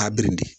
A birinti